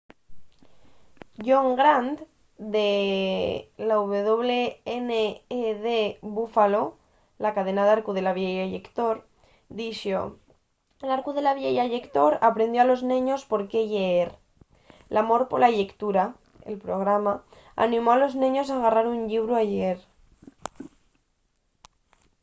john grant de wned buffalo la cadena d'arcu de la vieya llector dixo l’arcu de la vieya llector aprendió a los neños por qué lleer.l’amor pola llectura —[el programa] animó a los neños a garrar un llibru y lleer